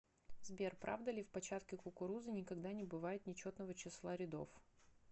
сбер правда ли в початке кукурузы никогда не бывает нечетного числа рядов